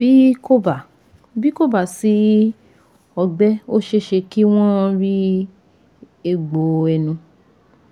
Bí kò bá Bí kò bá sí ọgbẹ́ ó ṣeéṣe kí wọ́n rí egbò ẹnu